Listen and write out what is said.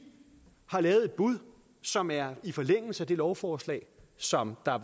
har givet et bud som er i forlængelse af det lovforslag som var